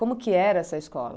Como que era essa escola?